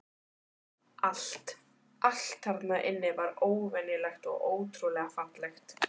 Allt, allt þarna inni var óvenjulegt og ótrúlega fallegt.